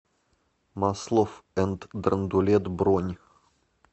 маслофф энд драндулет бронь